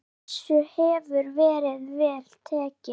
Þessu hefur verið vel tekið.